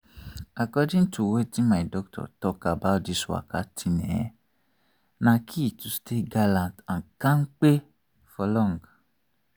according to weitin my doctor talk about this waka thing ehh na key to stay gallant and kampe for long.